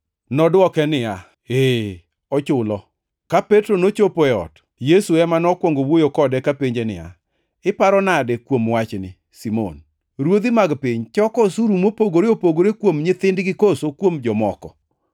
Nodwoke niya, “Ee, ochulo.” Ka Petro nochopo e ot, Yesu ema nokwongo wuoyo kode kapenje niya, “Iparo nade kuom wachni, Simon? Ruodhi mag piny choko osuru mopogore opogore kuom nyithindgi koso kuom jomoko?”